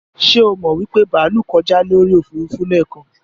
Ṣé o mọ wípé bàálú kọjá lójú Òfurufú lẹ́kan?